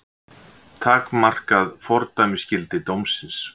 Takmarkað fordæmisgildi dómsins